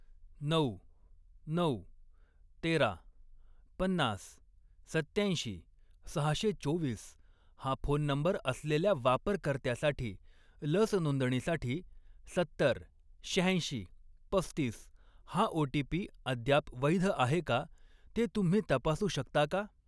नऊ, नऊ, तेरा, पन्नास, सत्त्याऐंशी, सहाशे चोवीस हा फोन नंबर असलेल्या वापरकर्त्यासाठी लस नोंदणीसाठी सत्तर, शहाऐंशी, पस्तीस हा ओ.टी.पी. अद्याप वैध आहे का ते तुम्ही तपासू शकता का?